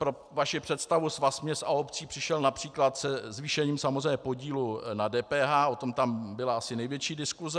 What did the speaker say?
Pro vaši představu, Svaz měst a obcí přišel například se zvýšením samozřejmě podílu na DPH, o tom tam byla asi největší diskuse.